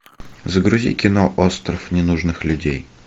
загрузи кино остров ненужных людей